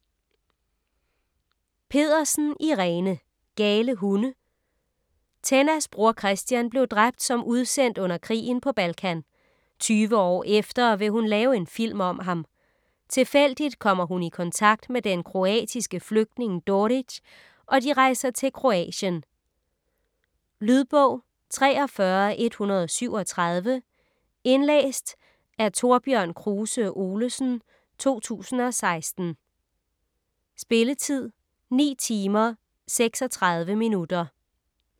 Pedersen, Irene: Gale hunde Tennas bror Christian blev dræbt som udsendt under krigen på Balkan. Tyve år efter vil hun lave en film om ham. Tilfældigt kommer hun i kontakt med den kroatiske flygtning Doric og de rejser til Kroatien. Lydbog 43137 Indlæst af Thorbjørn Kruse Olesen, 2016. Spilletid: 9 timer, 36 minutter.